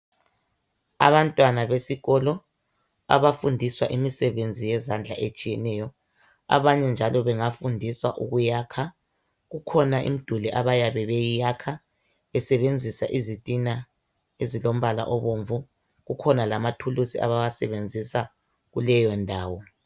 Abantwana besikolo abafundiswa imsebenzi yezandla etshiyeneyo abanye njalo bengafundiswa ukuyakha ikhona imiduli ababe beyiyakha besebenzisa izitina elombala obomvu akhona lamathulisi abawasenzisa kuleyo ndawo